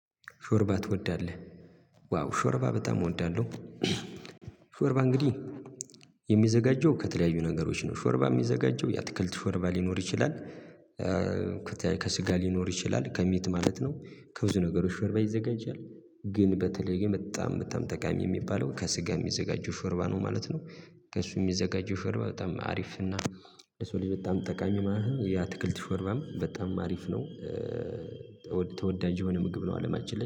ሾርባ ትወዳለህ? ዋው ሾርባ በጣም እወዳለሁ ሾርባ እንግዲህ የሚዘጋጀው ከተለያዩ ነገሮች ነው ሾርባ የሚዘጋጀው የአትክልት ሾርባ ሊኖር ይችላል ከስጋ ሊኖር ይችላል ከሚት ማለት ነው ከብዙ ነገሮች ሽርባ ይዘጋጃል ግን በተለይ በጣም በጣም ጠቃሚ የሚባለው ከስጋ የሚዘጋጀው ሾርባ ነው ማለት ነው ከእሱ የሚዘጋጀው ሾርባ በጣም አሪፍ እና የሰው ልጅ በጣም ጠቃሚ ማለት ያትክልት ሾርባም በጣም አሪፍ ነው ተወዳጅ የሆነ ምግብ ነው አለማችን ላይ